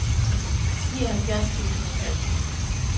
nioghalvfjerds tusind og tre